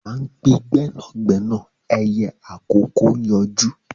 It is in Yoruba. À ń pe gbẹ́nàgbẹ́nà ẹyẹ àkókó ń yọjú